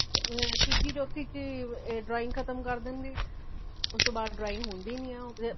ਆ ਤੀਜੀ ਚੋਥੀ ਵਿਚ ਹੀ drawing ਖ਼ਤਮ ਕਰ ਦੇਂਦੇ ਨੇ ,ਉਸਤੋਂ ਬਾਦ drawing ਹੋਂਦੀ ਨਹੀਂ ਏ